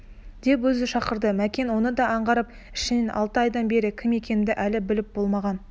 деп өзі шақырды мәкен оны да аңғарды ішінен алты айдан бері кім екенімді әлі біліп болмаған